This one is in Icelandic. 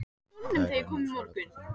Þær eru nú fjórðungur þingmanna